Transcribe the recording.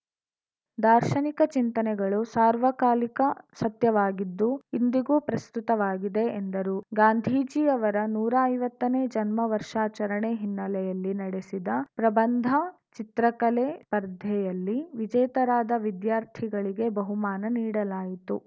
ದಾರ್ಶನಿಕ ಚಿಂತನೆಗಳು ಸಾರ್ವಕಾಲಿಕ ಸತ್ಯವಾಗಿದ್ದು ಇಂದಿಗೂ ಪ್ರಸ್ತುತವಾಗಿವೆ ಎಂದರು ಗಾಂಧೀಜಿಯವರ ನೂರಾ ಐವತ್ತನೇ ಜನ್ಮ ವರ್ಷಾಚರಣೆ ಹಿನ್ನೆಲೆಯಲ್ಲಿ ನಡೆಸಿದ ಪ್ರಬಂಧ ಚಿತ್ರಕಲೆ ಸ್ಪರ್ಧೆಯಲ್ಲಿ ವಿಜೇತರಾದ ವಿದ್ಯಾರ್ಥಿಗಳಿಗೆ ಬಹುಮಾನ ನೀಡಲಾಯಿತು